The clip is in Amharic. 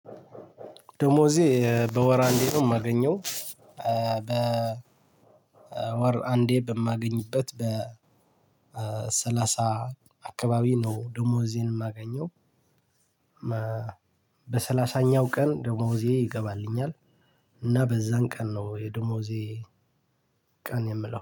ደሞዜ በወር አንዴ ነው የማገኘው በ ወር አንዴ በማገኝበት በሰላሳ አካባቢ ነው ደሞዜን የማገኘው። በሰላሳኛው ቀን ደሞዜ ይገባልኛል እና በዛን ቀን ነው የደሞዜ ቀን የምለው